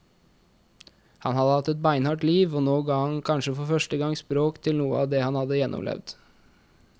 Han hadde hatt et beinhardt liv, og nå ga han kanskje for første gang språk til noe av det han hadde gjennomlevd.